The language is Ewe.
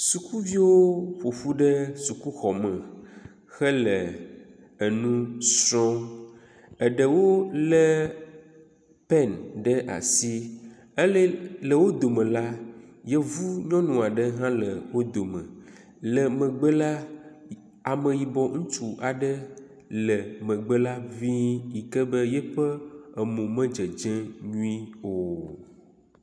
Sukuviwo ƒoƒu ɖe sukuxɔme hele enu srɔ̃m. Eɖewo le peni ɖe asi ele le wo dome la, yevu nyɔnu aɖe hã le wo dome. Le megbe la, ameyibɔ ŋutsu aɖe le megbe la ŋii yi ke be yiƒe emo me dzedzem nyuie o.